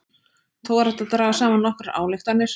Þó er hægt að draga saman nokkrar ályktanir.